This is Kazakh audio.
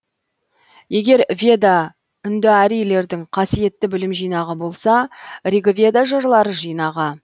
егер веда үндіарийлердің қасиетті білім жинағы болса ригведа жырлар жинағы